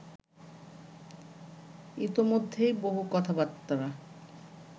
ইতোমধ্যেই বহু কথাবার্তা